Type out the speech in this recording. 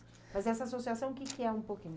Mas essa associação, o que que é um pouquinho?